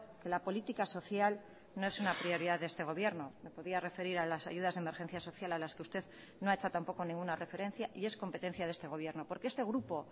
que la política social no es una prioridad de este gobierno me podía referir a las ayudas de emergencia social a las que usted no ha hecho tampoco ninguna referencia y es competencia de este gobierno porque este grupo